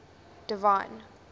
divine